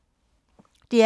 DR P2